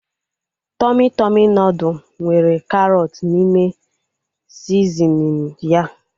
Tọmị Tọmị nudụ nwere karọt n'ime sizinin ya